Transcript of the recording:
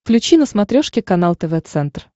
включи на смотрешке канал тв центр